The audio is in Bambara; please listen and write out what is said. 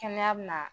Kɛnɛya bɛ na